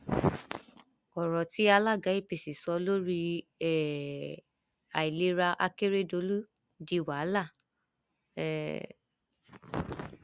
ọrọ tí alága apc sọ lórí um àìlera akérèdọlù di wàhálà um